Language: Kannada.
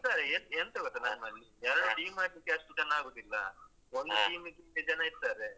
ಹಾ ಇದ್ದಾರೆ ಎಂತ ಎಂತ ಗೊತ್ತುಂಟ ಎರಡು team ಮಾಡ್ಲಿಕ್ಕೆ ಅಷ್ಟು ಜನ ಆಗುದಿಲ್ಲ ಒಂದು team ಗಿಂತ ಜನ ಇದ್ದಾರೆ.